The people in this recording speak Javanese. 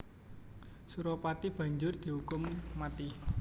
Suropati banjur diukum mati